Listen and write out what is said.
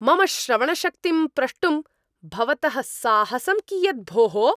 मम श्रवणशक्तिं प्रष्टुं भवतः साहसम् कियत् भोः?